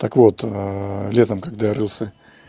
так вот летом когда рылся